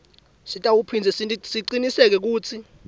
sitawuphindze sicinisekise kutsi